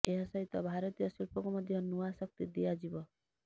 ଏହା ସହିତ ଭାରତୀୟ ଶିଳ୍ପକୁ ମଧ୍ୟ ନୂଆ ଶକ୍ତି ଦିଆଯିବ